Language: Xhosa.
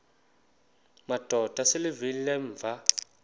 madod asesihialweni sivaqal